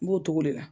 N b'o togo de la